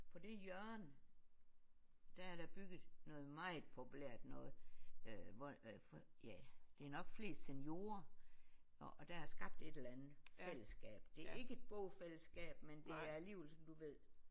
På det hjørne der er der bygget noget meget populært noget øh hvor ja det er nok flest seniorer og og der er skabt et eller andet fællesskab. Det er ikke et bofællesskab men det er alligevel sådan du ved